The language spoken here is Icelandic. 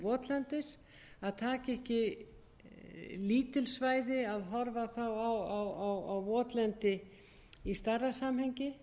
votlendis að taka ekki lítil svæði að horfa þá á votlendi í stærra samhengi